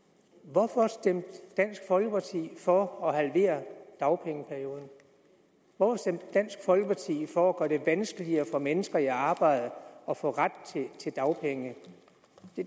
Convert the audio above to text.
hvorfor stemte dansk folkeparti for at halvere dagpengeperioden hvorfor stemte dansk folkeparti for at det vanskeligere for mennesker i arbejde at få ret til dagpenge